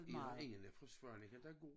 I har ingen fra Svaneke der går